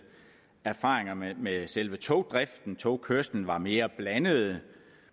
erfaringerne med selve togdriften togkørslen var mere blandede